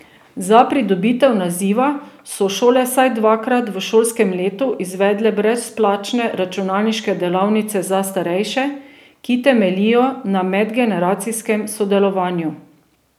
Za pridobitev naziva so šole vsaj dvakrat v šolskem letu izvedle brezplačne računalniške delavnice za starejše, ki temeljijo na medgeneracijskem sodelovanju.